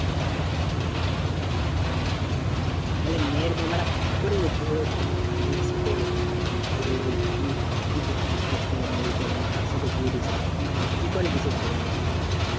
তাহলে মেয়ের বাবারা কি করে? তাহলে তার মেয়ের সাথে ধরলে কোনো কিছু কাজ ফাজ করে না এই করে না তার সাথে বিয়ে দিচ্ছে। কি করে দিচ্ছে তাহলে ওরা?